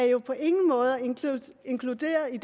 jo på ingen måde er inkluderet i